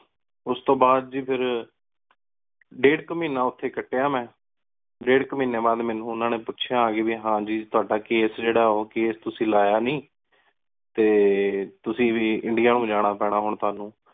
ਉਸ ਤੋ ਬਾਦ ਗੀ ਫੇਰ ਡੇਢ਼ ਕੋ ਮਹੀਨਾ ਕਟੀਆ ਮੇਨ ਓਥੀ ਮੇਂ ਡੇਢ਼ ਕੋ ਮਹੀਨੀ ਬਾਦ ਮਨੁ ਓਹਨਾ ਨੀ ਪੁਚ੍ਯਾ ਆ ਕ ਵੀ ਟੋਹੜਾ ਕੈਸੇ ਜੇਰਾ ਓਹ ਕੈਸੇ ਤੁਸੀਂ ਲਾਯਾ ਨੀ ਟੀ ਤੁਸੀਂ ਵੀ ਇੰਡੀਆ ਨੂ ਜਾਣਾ ਪੀਨਾ ਤੁਹਾਨੂ